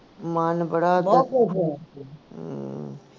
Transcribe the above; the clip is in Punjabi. ਮਨ ਬੜਾ ਹਮ